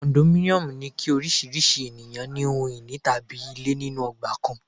Kondominiomu ni kí oríṣiríṣi ènìyàn ní ohun ìní tàbí ilé nínú ọgbà kan.